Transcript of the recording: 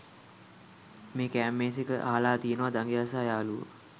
මේකෙ කෑම මේසෙඑක අහලා තියනවාදඟයා සහ යාළුවෝ